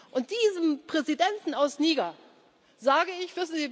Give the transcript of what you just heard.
Und diesem Präsidenten aus Niger sage